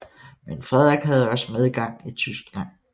Men Frederik havde også medgang i Tyskland